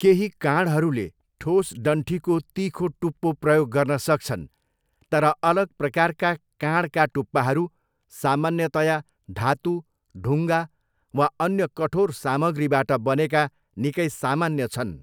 केही काँढहरूले ठोस डन्ठीको तिखो टुप्पो प्रयोग गर्न सक्छन्, तर अलग प्रकारका काँढका टुप्पाहरू सामान्यतया धातु, ढुङ्गा वा अन्य कठोर सामग्रीबाट बनेका निकै सामान्य छन्।